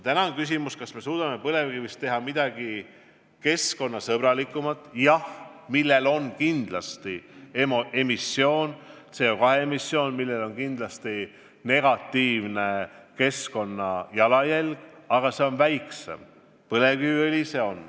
Täna on küsimus, kas me suudame põlevkivist teha midagi keskkonnasõbralikumat, millega on kindlasti ka seotud CO2 emissioon – ja see on emissioon, millel on kindlasti negatiivne keskkonnajalajälg –, aga see on väiksem.